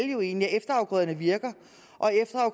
jo egentlig at efterafgrøderne virker